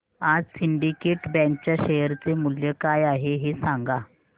आज Syndicate Bank च्या share चे मूल्य काय आहे हे सांगा